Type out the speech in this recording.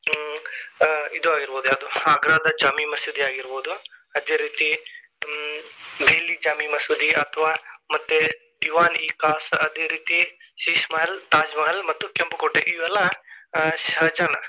ಹ್ಮ್ ಇದು ಆಗಿರಬಹುದು ಯಾವುದು Agra ದ ಜಾಮಿ ಮಸೀದಿ ಆಗಿರಬಹುದು, ಅದೇ ರೀತಿ ಹ್ಮ್ Delhi ಜಾಮಿ ಮಸೂದಿ ಅಥ್ವ ಮತ್ತೆ Diwan-i-Khas ಅದೇ ರೀತಿ Sheesh Mahal, Taj Mahal ಮತ್ತು ಕೆಂಪು ಕೋಟೆ ಇವೆಲ್ಲಾ ಆ ಶಹಜಾನ್.